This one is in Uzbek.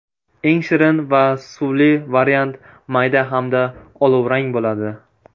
Eng shirin va suvli variant mayda hamda olovrang bo‘ladi.